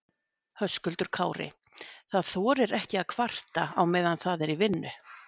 Höskuldur Kári: Það þorir ekki að kvarta á meðan það er í vinnu?